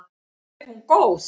Er hún góð?